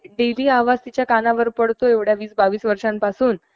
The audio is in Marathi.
डेली आवाज तिच्या कानावर पडतो एवढ्या वीस बावीस वर्षांपासून